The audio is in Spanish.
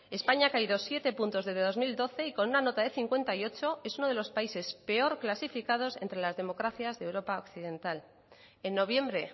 españa ha caído siete puntos desde el dos mil doce y con una nota de cincuenta y ocho es uno de los países peor clasificados entre las democracias de europa occidental en noviembre